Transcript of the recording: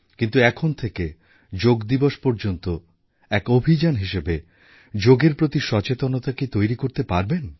কিন্তু এখন থেকে যোগা দিবস পর্যন্ত এক অভিযান হিসেবে যোগের প্রতি সচেতনতা কি তৈরি করতে পারবেন